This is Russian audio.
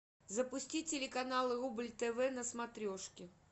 запусти телеканал рубль тв на смотрешке